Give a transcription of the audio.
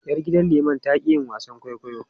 Yar gidan liman ta ƙi yin wasan kwaikwayo.